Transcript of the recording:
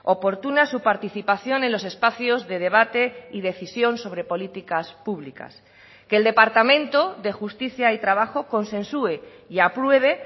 oportuna su participación en los espacios de debate y decisión sobre políticas públicas que el departamento de justicia y trabajo consensue y apruebe